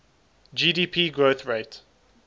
gdp growth rate